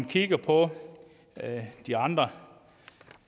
kigger på de andre